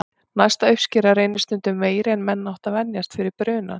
Næsta uppskera reynist stundum meiri en menn áttu að venjast fyrir brunann.